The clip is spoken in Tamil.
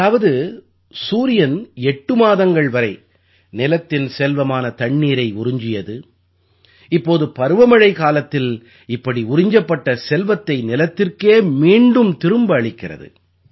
அதாவது சூரியன் எட்டு மாதங்கள் வரை நிலத்தின் செல்வமான தண்ணீரை உறிஞ்சியது இப்போது பருவமழைக்காலத்தில் இப்படி உறிஞ்சப்பட்ட செல்வத்தைநிலத்திற்கே மீண்டும் திரும்ப அளிக்கிறது